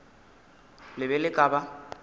le be le ka ba